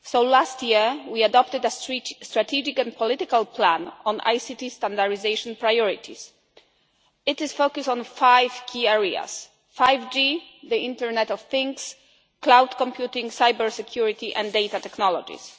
Last year we adopted a strategic and political plan on ICT standardisation priorities. It is focused on five key areas 5G, the internet of things, cloud computing, cyber security and data technologies.